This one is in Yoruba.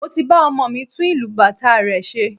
Mo ti ba ọmọ mi tún ìlù bàtá rẹ̀ ṣe